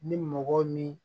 Ni mɔgɔ ni